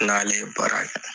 N n'ale ye baara kɛ